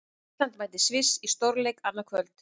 Ísland mætir Sviss í stórleik annað kvöld.